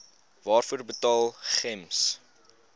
waarvoor betaal gems